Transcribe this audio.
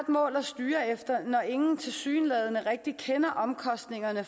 mål at styre efter når ingen tilsyneladende rigtig kender omkostningerne